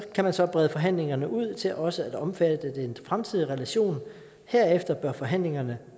kan man så brede forhandlingerne ud til også at omfatte den fremtidige relation og herefter bør forhandlingerne